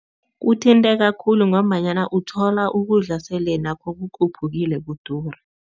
Kuthinteka khulu ngombanyana uthola ukudla sele nakho kukhuphukile, kudura.